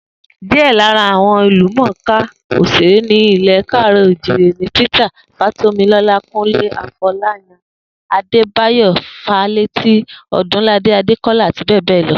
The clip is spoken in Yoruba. Díè̩ lára àwo̩n ìlúmò̩ká òs̩èré ní ilè̩ Káàrò̩-ò-jíire ni Peter Fátómiló̩lá, Kúnlé Afo̩láyan, Adébáyò̩ Fálétí, O̩dúnladé Adékó̩lá, àti bé̩è̩ lo̩